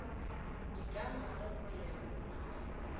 dikagare go ya go a